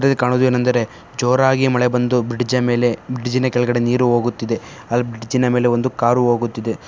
ಇದರಲ್ಲಿ ಕಾಣುವುದು ಏನೆಂದರೆ ಜೋರಾಗಿ ಮಳೆ ಬಂದು ಬ್ರಿಡ್ಜ್ ಮೇಲೆ ಬ್ರಿಡ್ಜ್ ಕೆಳಗಡೆ ನೀರು ಓಗುತ್ತಿದೆ ಅಲ್ ಬ್ರಿಡ್ಜ್ ಮೇಲೆ ಒಂದು ಕಾರು ಹೋಗುತ್ತಿದೆ.